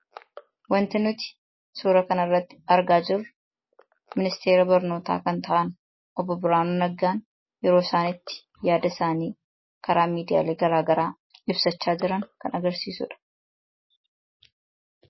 Wanti nuti suuraa kana irratti argaa jirru ministeera barnootaa kan ta'an obbo Birhaanuu Naggaan yeroo isaan itti yaada isaanii karaa miidiyaalee garaagaraa ibsachaa jiran kan agarsiisuu dha.